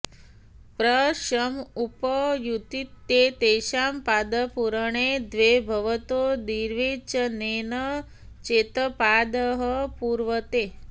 प्र सम् उप उतित्येतषां पादपूरणे द्वे भवतो द्विर्वचनेन चेत् पादः पूर्वते